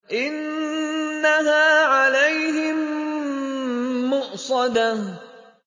إِنَّهَا عَلَيْهِم مُّؤْصَدَةٌ